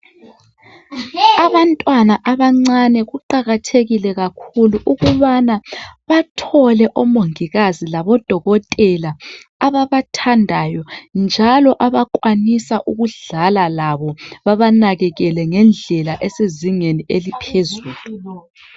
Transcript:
Abantwana abancani kuqakathekile ukuthi bathole omongikazi labo dokotela ababathandayo njalo abakwanisa ukudlala labo bebanakekele ngendlela esezingeni eliphuzulu